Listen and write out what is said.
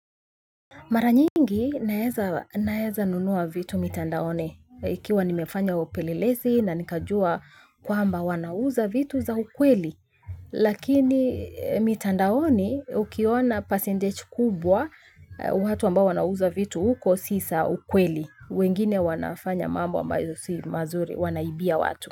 Mara nyingi naeza nunua vitu mitandoni ikiwa nimefanya upelelezi na nikajua kwamba wanauza vitu za ukweli. Lakini mitandaoni ukiona percentage kubwa, watu ambao wanauza vitu huko si za ukweli. Wengine wanafanya mambo ambazo si mazuri wanaibia watu.